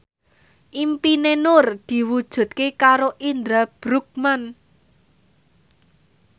impine Nur diwujudke karo Indra Bruggman